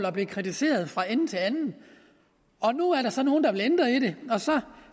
og blive kritiseret fra ende til anden og nu er der så nogle der vil ændre i det og så